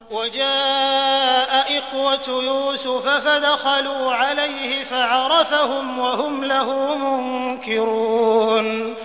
وَجَاءَ إِخْوَةُ يُوسُفَ فَدَخَلُوا عَلَيْهِ فَعَرَفَهُمْ وَهُمْ لَهُ مُنكِرُونَ